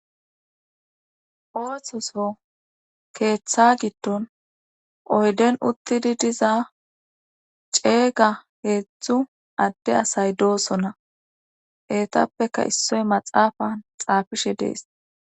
Ooththoso keeththa giddon oyden uttidi diza ceega heeththu adde asay doosonna eetappeka issoy maxaafan xaafishe dees.